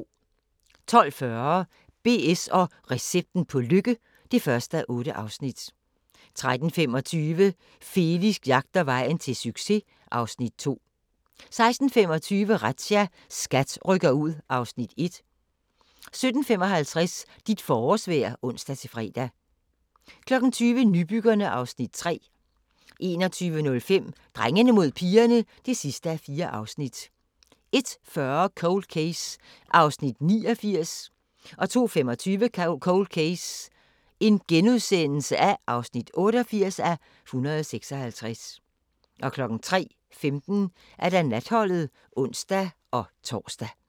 12:40: BS & recepten på lykke (1:8) 13:25: Felix jagter vejen til succes (Afs. 2) 16:25: Razzia – SKAT rykker ud (Afs. 1) 17:55: Dit forårsvejr (ons-fre) 20:00: Nybyggerne (Afs. 3) 21:05: Drengene mod pigerne (4:4) 01:40: Cold Case (89:156) 02:25: Cold Case (88:156)* 03:15: Natholdet (ons-tor)